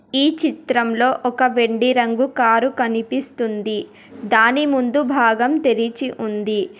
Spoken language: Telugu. ఈ చిత్రంలో ఒక వెండి రంగు కారు కనిపిస్తుంది దాని ముందు భాగం తెరిచి ఉంది.